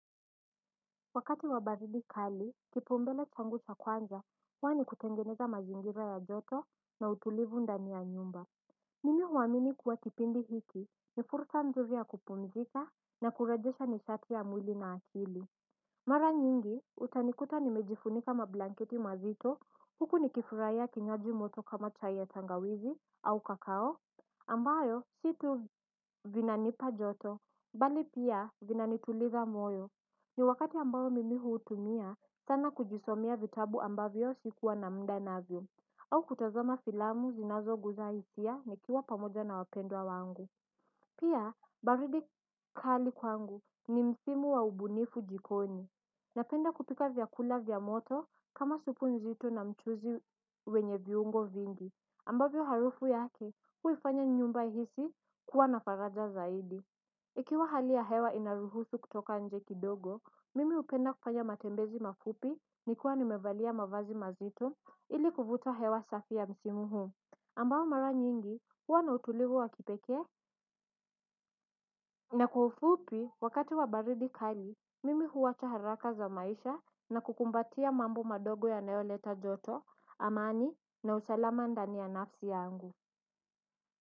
Wakati wa baridi kali kipaumbele changu cha kwanza huwa ni kutengeneza mazingira ya joto na utulivu ndani ya nyumba. Mimi huamini kuwa kipindi hiki ni fursa nzuri ya kupumzika na kurejesha nishati ya mwili na akili. Mara nyingi utanikuta nimejifunika mablanketi mazito huku nikifurahia kinywaji moto kama chai tangawizi au kakao ambayo sio tu vinanipa joto bali pia vinanituliza moyo. Ni wakati ambao mimi huutumia, sana kujisomea vitabu ambavyo sikuwa na muda navyo. Au kutazama filamu zinazogusa hisia nikiwa pamoja na wapendwa wangu. Pia, baridi kali kwangu ni msimu wa ubunifu jikoni. Napenda kupika vyakula vya moto kama supu nzito na mchuzi wenye viungo vingi. Ambavyo harufu yake, huifanya nyumba ihisi kuwa na faraja zaidi. Ikiwa hali ya hewa inaruhusu kutoka nje kidogo, mimi hupenda kufanya matembezi mafupi nikiwa nimevalia mavazi mazito ili kuvuta hewa safi ya msimu huu. Ambayo mara nyingi, huwa na utulivu wa kipekee Na kwa ufupi, wakati wa baridi kali, mimi huacha haraka za maisha na kukumbatia mambo madogo yanayoleta joto, amani na usalama ndani ya nafsi yangu.